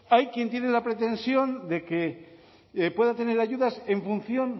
hay quien tiene la pretensión de que pueda tener ayudas en función